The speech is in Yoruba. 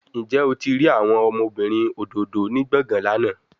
Njẹ o ti rii awọn ọmọbirin ododo ni gbọngan lana?